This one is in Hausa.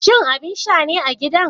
Shin abin sha ne a gidan?